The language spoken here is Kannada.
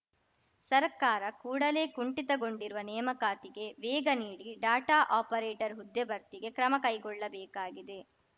ಸರ್ಕಾರ ಕೂಡಲೇ ಕುಂಠಿತಗೊಂಡಿರುವ ನೇಮಕಾತಿಗೆ ವೇಗ ನೀಡಿ ಡಾಟಾ ಅಪರೇಟರ್‌ ಹುದ್ದೆ ಭರ್ತಿಗೆ ಕ್ರಮ ಕೈಗೊಳ್ಳಬೇಕಾಗಿದೆ